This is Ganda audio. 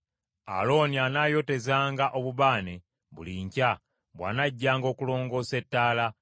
“Alooni anaayotezanga obubaane buli nkya, bw’anajjanga okulongoosa ettaala.